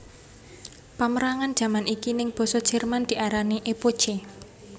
Pamérangan jaman iki ing basa Jerman diarani Epoche